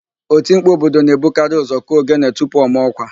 Otimkpu obodo na-ebukarị ụ́zọ̀ kụọ ogene tupu ọ maa ọ́kwà.